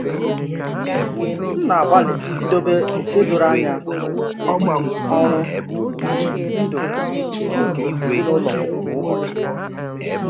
M na-agbalị idobe oke doro anya n’etiti ọrụ na ndụ nke ezinụlọ kwa ụbọchị.